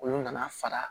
Olu nana fara